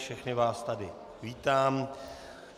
Všechny vás tady vítám.